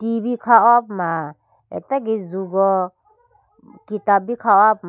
T V kha ho puma atage jugo kitab bi kha ho puma.